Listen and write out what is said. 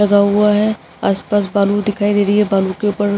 लगा हुआ है आस-पास बालू दिखाई दे रही है बालू के ऊपर --